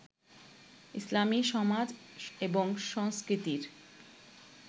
ইসলামী সমাজ এবং সংস্কৃতির